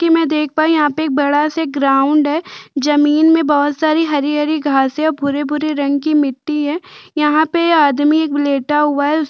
कि मैं देख पायी यहाँ पे एक बडा-से ग्राउंड है जमीन में बोहोत सारी हरी -हरी घासें और भूरे -भूरे रंग की मिट्टी है यहाँ पे आदमी एक लेटा हुआ है उस --